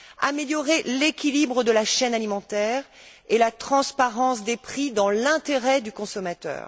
améliorer l'équilibre de la chaîne alimentaire et la transparence des prix dans l'intérêt du consommateur